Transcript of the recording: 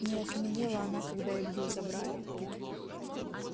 не окаменела она когда илью забрали